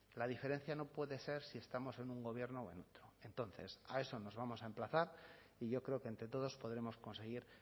la diferencia no puede ser si estamos en un gobierno o en otro entonces a eso nos vamos a emplazar y yo creo que entre todos podremos conseguir